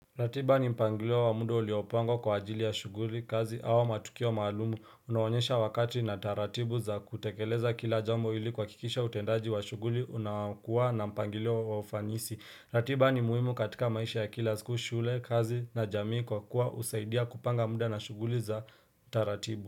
Ratiba ni mpangilio wa mda uliopangwa kwa ajili ya shughuli kazi au matukio maalumu unaonyesha wakati na taratibu za kutekeleza kila jambo ili kuha kikisha utendaji wa shughuli unakuwa na mpangilio wa ufanisi. Ratiba ni muhimu katika maisha ya kila siku shule kazi na jamii kwa kuwa husaidia kupanga mda na shughuli za taratibu.